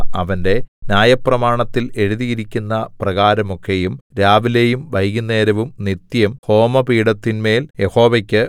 അവന്റെ ന്യായപ്രമാണത്തിൽ എഴുതിയിരിക്കുന്ന പ്രകാരമൊക്കെയും രാവിലെയും വൈകുന്നേരവും നിത്യം ഹോമപീഠത്തിന്മേൽ യഹോവക്കു